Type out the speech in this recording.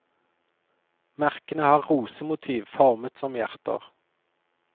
Merkene har rosemotiv formet som hjerter.